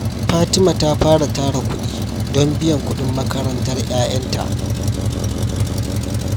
Fatima ta fara tara kudi don biyan kudin makarantar ’ya’yanta.